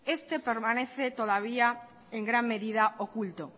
este permanece todavía en gran medida oculto